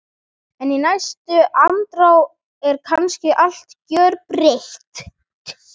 En í næstu andrá er kannski allt gjörbreytt.